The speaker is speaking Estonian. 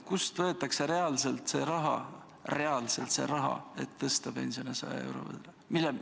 Kust võetakse reaalselt see raha, et tõsta pensione 100 euro võrra?